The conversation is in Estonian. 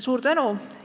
Suur tänu!